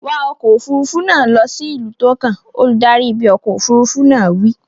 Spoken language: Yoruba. Wa ọkọ̀ òfuurufú náà lọ sí ìlú tó kàn! Olùdarí ibi ọkọ̀ òfuurufú náà wí.